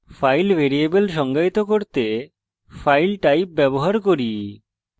file variable সংজ্ঞায়িত করতে file type ব্যবহার করি